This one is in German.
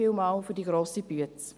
Vielen Dank für die grosse Arbeit!